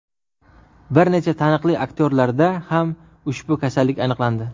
Bir necha taniqli aktyorlarda ham ushbu kasallik aniqlandi.